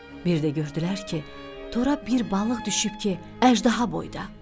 Bir də gördülər ki, tora bir balıq düşüb ki, əjdaha boyda.